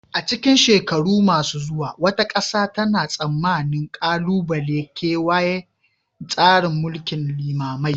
A cikin shekaru masu zuwa, wata ƙasa tana tsammanin ƙalubalen kewaya tsarin mulkin limamai